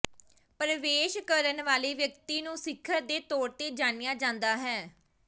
ਪਰਵੇਸ਼ ਕਰਨ ਵਾਲੇ ਵਿਅਕਤੀ ਨੂੰ ਸਿਖਰ ਦੇ ਤੌਰ ਤੇ ਜਾਣਿਆ ਜਾਂਦਾ ਹੈ